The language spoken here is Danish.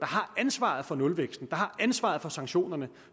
har ansvaret for nulvæksten og har ansvaret for sanktionerne